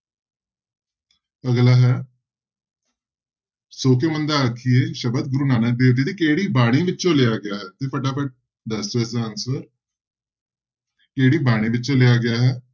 ਅਗਲਾ ਹੈ ਸੌ ਕਿਉਂ ਮੰਦਾ ਆਖੀਐ ਸ਼ਬਦ ਗੁਰੂ ਨਾਨਕ ਦੇਵ ਜੀ ਦੀ ਕਿਹੜੀ ਬਾਣੀ ਵਿੱਚੋਂ ਲਿਆ ਗਿਆ ਹੈ, ਤੇ ਫਟਾਫਟ ਦੱਸ ਦਿਓ ਇਸਦਾ answer ਕਿਹੜੀ ਬਾਣੀ ਵਿੱਚੋਂ ਲਿਆ ਗਿਆ ਹੈ।